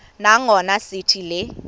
nangona sithi le